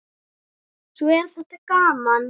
Svo er þetta gaman.